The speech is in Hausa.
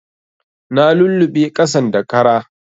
Na luluɓe ƙasan da kara